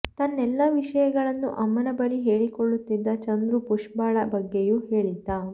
ತನ್ನೆಲ್ಲಾ ವಿಷಯಗಳನ್ನು ಅಮ್ಮನ ಬಳಿ ಹೇಳಿಕೊಳುತ್ತಿದ್ದ ಚಂದ್ರು ಪುಷ್ಪಳ ಬಗ್ಗೆಯೂ ಹೇಳಿದ್ದ